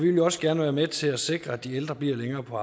jo også gerne være med til at sikre at de ældre bliver længere på